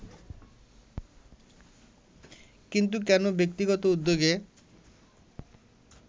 কিন্তু কেন ব্যক্তিগত উদ্যোগে